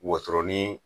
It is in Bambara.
Woson ni